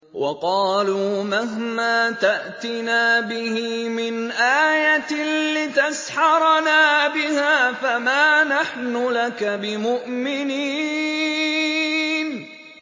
وَقَالُوا مَهْمَا تَأْتِنَا بِهِ مِنْ آيَةٍ لِّتَسْحَرَنَا بِهَا فَمَا نَحْنُ لَكَ بِمُؤْمِنِينَ